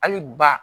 Hali ba